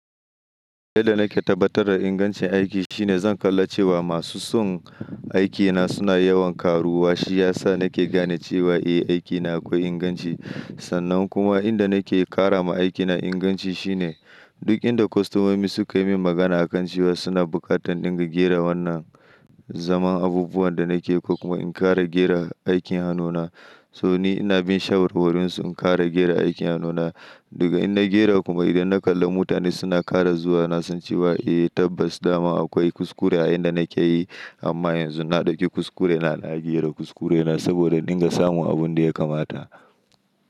Yadda na ke tabbatar da ingancin aiki shine zan kalla cewa masu son aikina suna yawan karuwa. Shi ya sa na ke gane cewa eh, aikina akwai inganci. Sannan kuma in da na ke ƙara ma aikina inganci shine duk inda kostomomi suka yi min magana a kan cewa suna buƙatar ɗinga gera wannan zaman abubuwan da na ke ko kuma in ƙara gera aikin hannuna. So ni ina bin shawarwarinsu in ƙara gera aikin hannuna. Daga in na gera kuma idan na kalla mutane suna kara zuwa, na san cewa eh tabbas dama akwai kuskure a in da na ke yi. Amma yanzu na ɗauki kuskure na na gera kuskurena saboda in ɗinga samun abun da ya kamata.